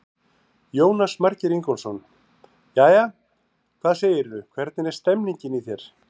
Jónas Margeir Ingólfsson: Jæja, hvað segirðu, hvernig er stemmingin í þér?